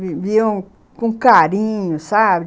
viviam com carinho, sabe?